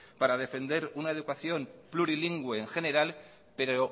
para defender una educación plurilingüe en general pero